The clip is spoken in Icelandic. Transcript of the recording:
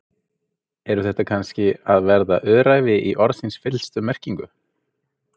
Eru þetta kannski að verða öræfi í orðsins fyllstu merkingu?